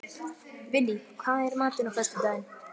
Vinný, hvað er í matinn á föstudaginn?